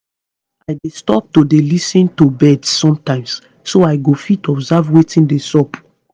i dey stop to dey lis ten to birds sometimes so i go fit observe wetin dey sup